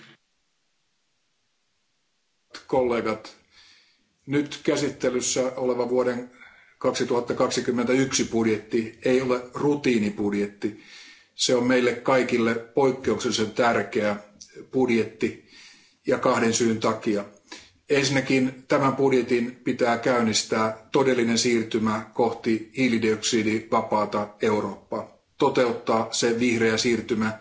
Arvoisa puhemies, arvoisat kollegat, nyt käsittelyssä oleva vuoden 2021 budjetti ei ole rutiinibudjetti. Se on meille kaikille poikkeuksellisen tärkeä budjetti kahden syyn takia. Ensinnäkin tämän budjetin pitää käynnistää todellinen siirtymä kohti hiilidioksidivapaata Eurooppaa, toteuttaa se vihreä siirtymä,